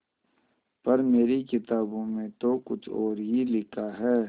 पर मेरी किताबों में तो कुछ और ही लिखा है